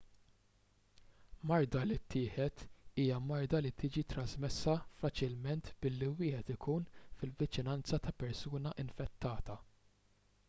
marda li tittieħed hija marda li tiġi trasmessa faċilment billi wieħed ikun fil-viċinanza ta' persuna infettata